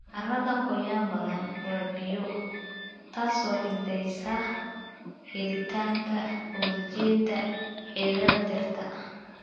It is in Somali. Carrada qoyan badanaa waa biyo, taas oo xaddidaysa helitaanka ogsijiinta xididdada dhirta.